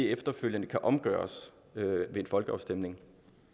efterfølgende kan omgøres ved en folkeafstemning